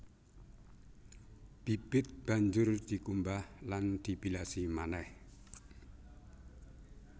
Bibit banjur dikumbah lan dibilasi manéh